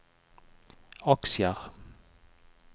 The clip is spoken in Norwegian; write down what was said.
aksjer